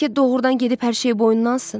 Bəlkə doğrudan gedib hər şeyi boynuna alsın?